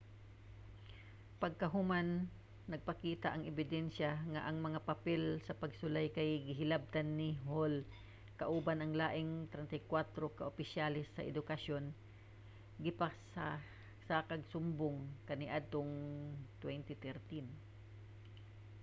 pagkahuman nagpakita ang ebidensya nga ang mga papel sa pagsulay kay gihilabtan ni hall kauban ang laing 34 ka opisyales sa edukasyon gipasakaag sumbong kaniadtong 2013